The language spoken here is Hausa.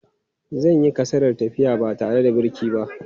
Zan yi kasadar tafiya ba tare da birki ba.